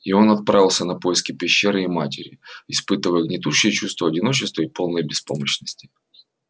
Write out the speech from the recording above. и он отправился на поиски пещеры и матери испытывая гнетущее чувство одиночества и полной беспомощности